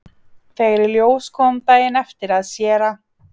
Þegar í ljós kom daginn eftir að séra